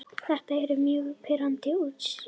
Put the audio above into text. Þetta eru mjög pirrandi úrslit.